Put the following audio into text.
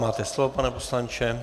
Máte slovo, pane poslanče.